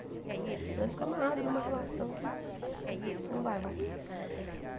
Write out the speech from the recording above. Senão ele fica amarrado numa relação que não não vai voltar.